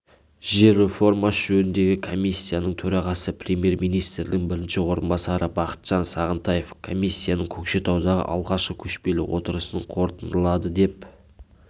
жер реформасы жөніндегі комиссияның төрағасы премьер-министрінің бірінші орынбасары бақытжан сағынтаев комиссияның көкшетаудағы алғашқы көшпеліотырысын қорытындылады деп